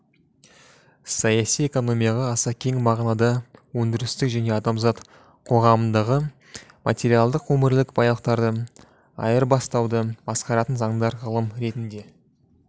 саяси экономияға аса кең мағынада өндірістік және адамзат қоғамындағы материалдық өмірлік байлықтарды айырбастауды басқаратын заңдар ғылым ретінде